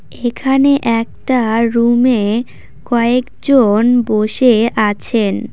এখানে একটা রুমে কয়েকজন বসে আছেন।